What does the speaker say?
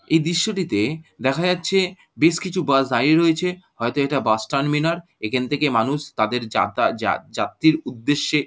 এই দৃশ্যটিতে দেখা যাচ্ছে বেশ কিছু বাস দাঁড়িয়ে রয়েছে হয়তো এটা বাস টারমিনার এখন থেকে মানুষ তাদের যাতা যা যাএির উদ্দেশ্যে।